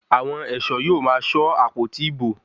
Àwọn ẹ̀ṣọ́ yóò máa ṣọ́ àpótí ìbò.